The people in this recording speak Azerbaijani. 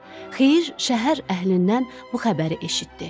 Xeyir şəhər əhlindən bu xəbəri eşitdi.